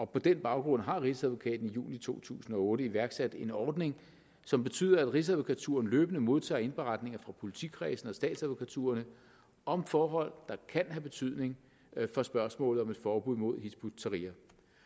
på den baggrund har rigsadvokaten i juli to tusind og otte iværksat en ordning som betyder at rigsadvokaturen løbende modtager indberetninger fra politikredsene og statsadvokaturerne om forhold der kan have betydning for spørgsmålet om et forbud mod hizb ut tahrir